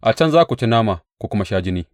A can za ku ci nama ku kuma sha jini.